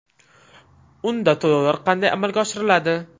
Unda to‘lovlar qanday amalga oshiriladi?